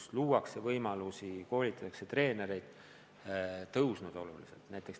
Seal luuakse võimalusi, koolitatakse treenereid, ja tase on oluliselt tõusnud.